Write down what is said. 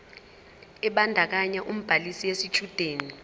ebandakanya ubhaliso yesitshudeni